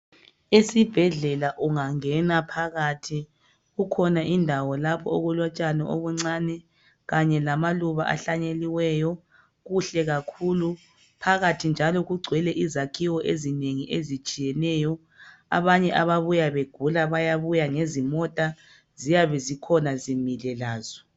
Esibhedlela ungangena phakathi kukhona indawo lapho okulotshani obuncane Kanye lamaluba ahlanyeliweyo kuhle kakhulu phathi njalo kungcwele izakhiwo ezinengi zitshiyeneyo abanye ababuya begula bayabuya ngezimota ziyabe zikhona zimile lazo